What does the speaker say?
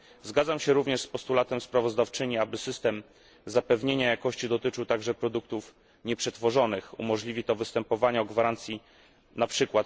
Zgadzam się również z postulatem sprawozdawczyni, aby system zapewnienia jakości dotyczył także produktów nieprzetworzonych umożliwi to występowania o gwarancje np.